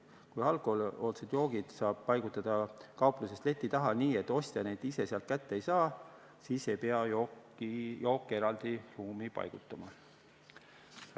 Kui alkohoolsed joogid saab paigutada kaupluses leti taha nii, et ostja neid ise sealt kätte ei saa, siis ei pea jooke eraldi ruumi paigutama.